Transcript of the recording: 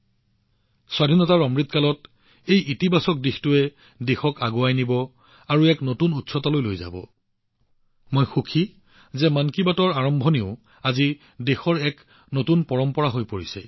এই ইতিবাচকতাই আজাদী কা অমৃতকালত দেশক আগুৱাই নিব এক নতুন উচ্চতালৈ লৈ যাব আৰু মই সুখী যে মন কী বাতৰ দ্বাৰা কৰা আৰম্ভণি আজি দেশত এক নতুন পৰম্পৰা হৈ পৰিছে